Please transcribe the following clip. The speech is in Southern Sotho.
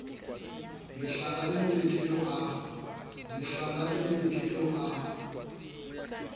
mehlala e metle eo a